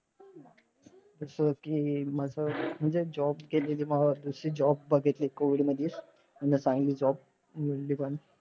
जसं कि माझं म्हणजे job गेलेली. जशी बघितली COVID मधीच. म्हणजे चांगली job मिळाली पण.